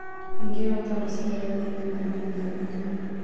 ĩngĩhota gũcera thĩ ngĩma na mũthenya ũmwe